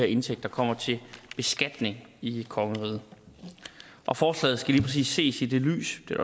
indtægter kommer til beskatning i kongeriget og forslaget skal lige præcis ses i det lys det er